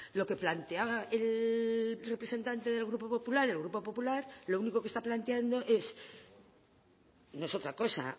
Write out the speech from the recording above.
lo que planteaba el representante del grupo popular el grupo popular lo único que está planteando es no es otra cosa